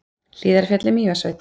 Hlíðarfjall í Mývatnssveit.